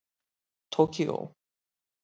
Tókíó